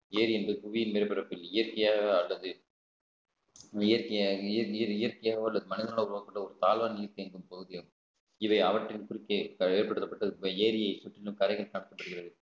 ஏரி இன்று புவியின் மேற்ப்பரப்பில் இயற்கையாக அல்லது நீர் இய~ நீர் இயற்கையாவோ அல்லது மனிதனால உருவாக்கப்பட்ட ஒரு தாழ்வான நீர் தேங்கும் பகுதியாகும் இதை அவற்றின் குறுக்கே ஏற்படுத்தப்பட்டது ஏரியை சுற்றிலும் கரைகள் தாக்கப்படுகிறது